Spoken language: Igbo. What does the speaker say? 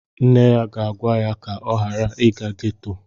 Nne ya ga-agwa ya ka ọ ghara ịga ghetto